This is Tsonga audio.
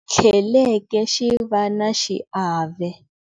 Tlheleke xi va na xiave.